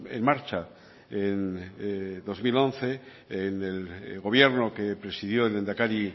en marcha en dos mil once en el gobierno que presidió el lehendakari